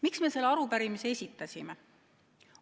" Miks me selle arupärimise esitasime?